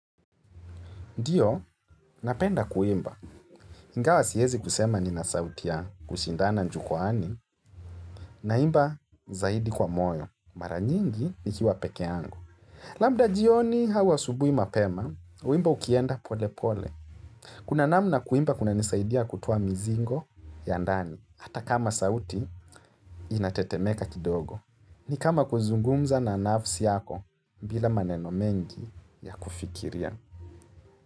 Ndiyo, napenda kuimba, ingawa siwezi kusema ni nasautia kushindana njukwani, na imba zaidi kwa moyo, mara nyingi ni kiwa peke yangu. Labda jioni au asubuhi mapema, wimbo ukienda pole pole. Kuna namna kuimba kuna nisaidia kutoa mizingo ya ndani, hata kama sauti inatetemeka kidogo. Ni kama kuzungumza na nafsi yako bila maneno mengi ya kufikiria.